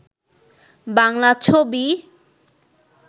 বাংলা ছবি